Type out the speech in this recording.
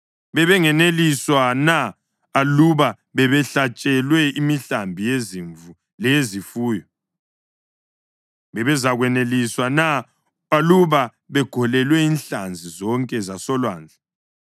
Bebengeneliswa na aluba bebehlatshelwe imihlambi yezimvu leyezifuyo? Babezakweneliswa na aluba begolelwe inhlanzi zonke zasolwandle?”